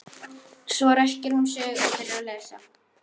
Svo ræskir hún sig og byrjar að lesa.